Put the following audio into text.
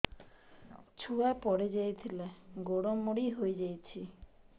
ଛୁଆ ପଡିଯାଇଥିଲା ଗୋଡ ମୋଡ଼ି ହୋଇଯାଇଛି